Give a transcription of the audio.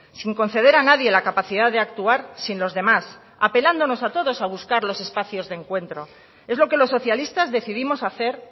sin conceder a nadie la capacidad de actuar sin los demás apelándonos a todos a buscar los espacios de encuentro es lo que los socialistas decidimos hacer